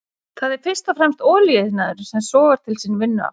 Það er fyrst og fremst olíuiðnaðurinn sem sogar til sín vinnuafl.